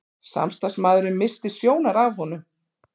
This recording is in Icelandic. Samstarfsmaðurinn missti sjónar af honum.